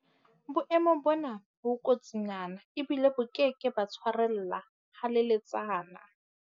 Boemo bona bo kotsinyana ebile bo ke ke ba tshwarella haleletsana.